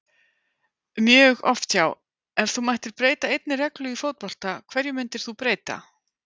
mjög oft já Ef þú mættir breyta einni reglu í fótbolta, hverju myndir þú breyta?